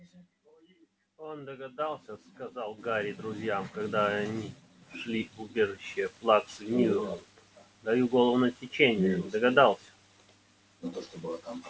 он догадался сказал гарри друзьям когда они шли в убежище плаксы миртл даю голову на отсечение догадался